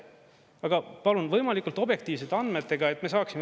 Aga palun võimalikult objektiivsete andmetega, et me saaksime.